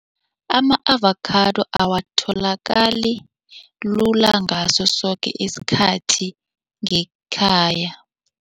Ama-avakhado awatholakali lula ngaso soke isikhathi ngekhaya.